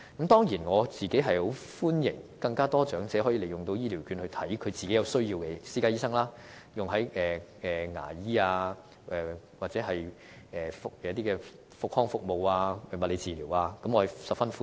當然，我個人是歡迎有更多長者，可以利用醫療券到其有需要的私家醫生處求診，例如牙醫、復康服務及物理治療等，我是十分歡迎的。